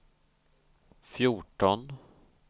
fjorton